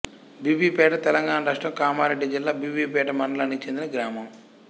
బీబీపేట తెలంగాణ రాష్ట్రం కామారెడ్డి జిల్లా బీబీపేట మండలానికి చెందిన గ్రామం